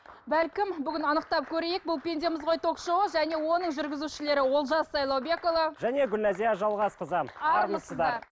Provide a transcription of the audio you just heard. бәлкім бүгін анықтап көрейік бұл пендеміз ғой ток шоуы және оның жүргізушілері олжас сайлаубекұлы және гүлназия жалғасқызы армысыздар